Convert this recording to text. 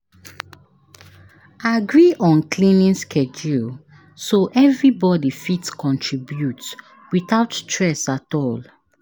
Agree on cleaning schedule so everybody fit contribute without stress at all.